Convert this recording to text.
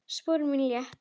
Spor mín létt.